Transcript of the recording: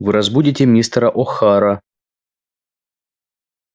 вы разбудите мистера охара